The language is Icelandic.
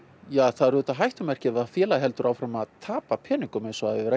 það er auðvitað hættumerki ef félagið heldur áfram að tapa peningum eins og það hefur